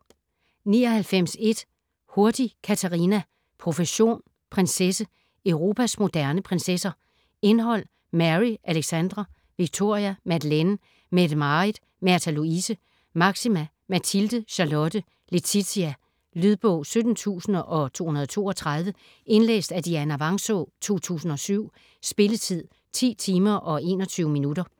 99.1 Hurtig, Catarina: Profession: prinsesse: Europas moderne prinsesser Indhold: Mary ; Alexandra ; Victoria ; Madeleine ; Mette-Marit ; Märtha Louise ; Máxima ; Mathilde ; Charlotte ; Letizia. Lydbog 17232 Indlæst af Dianna Vangsaa, 2007. Spilletid: 10 timer, 21 minutter.